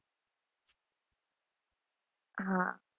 હા.